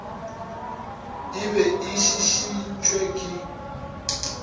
e be e šišintšwe ke